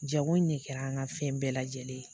Jago ɲɛ kɛra an ka fɛn bɛɛ lajɛlen.